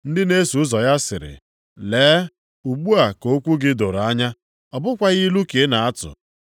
Ndị na-eso ụzọ ya sịrị, “Lee, ugbu a ka okwu gị doro anya. Ọ bụkwaghị ilu ka i na-atụ.